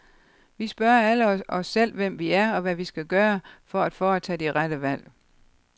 Vi spørger alle os selv om, hvem vi er, og hvad vi skal gøre, for at foretage de rette valg.